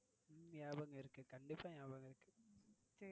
நியாபகமிருக்கு கண்டிப்பா நியாபகமிருக்கு.